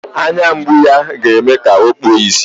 Anya mgbu ya ọ ga-eme ka o kpuo ìsì.